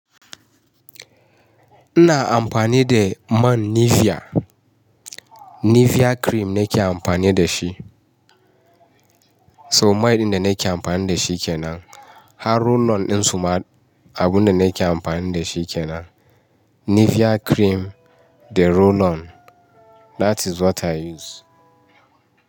Ina amfani da man Nivea. Nivea cream nake amfani da shi. To mai ɗin da nake amfani da shi kenan. Har roll on ɗin su ma abun da nake amfani da shi kenan. Nivea cream, da roll on. That is what I use.